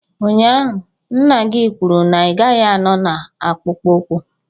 Ụnyaahụ, nna gị kwuru na ị gaghị anọ na akpụkpọ ụkwụ.